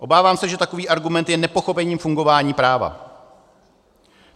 Obávám se, že takový argument je nepochopením fungování práva.